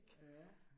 Ja